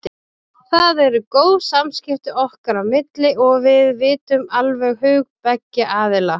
Það eru góð samskipti okkar á milli og við vitum alveg hug beggja aðila.